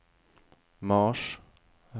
mars